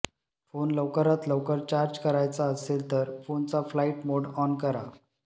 phone लवकरात लवकर charge करायचा असेल तर फोनचा फ्लाइट मोड ऑन करा